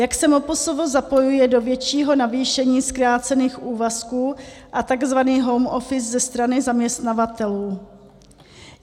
Jak se MPSV zapojuje do většího navýšení zkrácených úvazků a tzv. home office ze strany zaměstnavatelů?